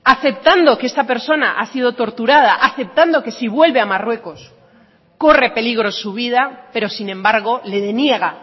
aceptando que esta persona ha sido torturada aceptando que si vuelve a marruecos corre peligro su vida pero sin embargo le deniega